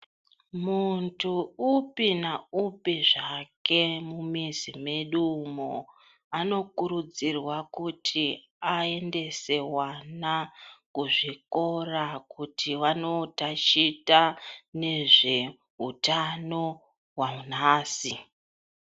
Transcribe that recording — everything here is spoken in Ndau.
Muntu upi na upi zvake mumizi medu umo anokurudzirwa kuti aendese wana kuzvikora kuti vanotachita nezveutano wanhasi.